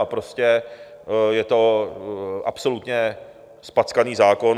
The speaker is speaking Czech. A prostě je to absolutně zpackaný zákon.